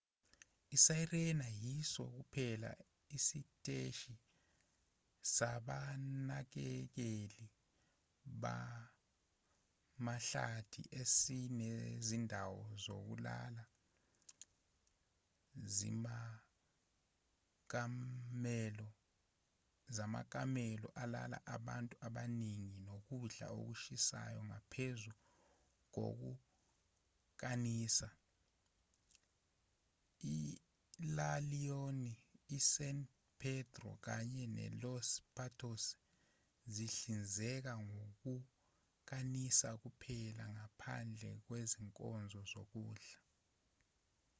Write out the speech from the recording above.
isirena yiso kuphela isiteshi sabanakekeli bamahlathi esinezindawo zokulala zamakamelo alala abantu abaningi nokudla okushisayo ngaphezu kokukanisa ila leona isan pedrillo kanye nelos patos zihlinzeka ngokukanisa kuphela ngaphandle kwezinkonzo zokudla